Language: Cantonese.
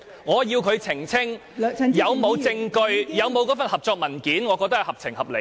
我要求她澄清是否有關乎該份合作文件的證據。